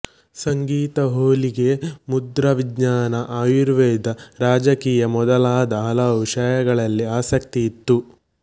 ಸಂಗೀತ ಹೊಲಿಗೆ ಮುದ್ರಾವಿಜ್ಞಾನ ಆಯುರ್ವೇದ ರಾಜಕೀಯ ಮೊದಲಾದ ಹಲವು ವಿಷಯಗಳಲ್ಲಿ ಆಸಕ್ತಿ ಇತ್ತು